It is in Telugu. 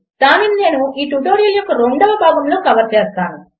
దానిని నేను ఈ ట్యుటోరియల్ యొక్క రెండవ భాగములో కవర్ చేస్తాను